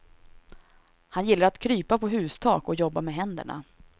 Han gillar att krypa på hustak och jobba med händerna.